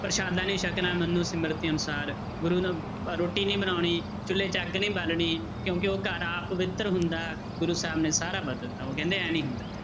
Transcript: ਪ੍ਰਸ਼ਾਦਾ ਨੀ ਸਕਣਾ ਸਿਮਰਤਿ ਅਨੁਸਾਰ ਗੁਰੂ ਨੂੰ ਰੋਟੀ ਨੀ ਬਣਾਉਣੀ ਚੁੱਲੇ 'ਚ ਅੱਗ ਨਹੀਂ ਬਾਲਣੀ ਕਿਉਂਕਿ ਉਹ ਘਰ ਅਪਵਿੱਤਰ ਹੁੰਦਾ, ਗੁਰੂ ਸਾਹਿਬ ਨੇ ਸਾਰਾ ਬਦਲਤਾ ਉਹ ਕਹਿੰਦੇ ਇਉੁਂ ਨੀ ਹੁੰਦਾ।